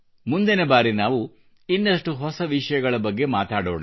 ಮುಂದಿನ ಬಾರಿ ನಾವು ಇನ್ನಷ್ಟು ಹೊಸ ವಿಷಯಗಳ ಬಗ್ಗೆ ಮಾತಾಡೋಣ